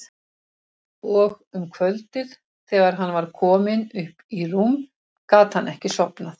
Og um kvöldið þegar hann var kominn upp í rúm gat hann ekki sofnað.